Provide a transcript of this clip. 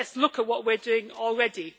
Let us look at what we are doing already.